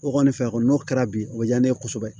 O kɔni fɛn kɔni n'o kɛra bi o diya ne ye kosɛbɛ